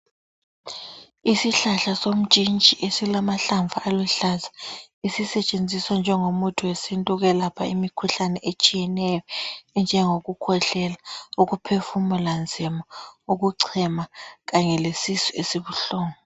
Isihlahla somtshintshi esilamahlamvu aluhlaza esisetshenziswa njengo muthi wesintu ukwelapha imikhuhlane etshiyeneyo enjengokukhwehlela, ukuphefumula nzima, ukuchema kanye lesisu esibuhlungu.